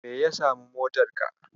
Menene ya samu motarka?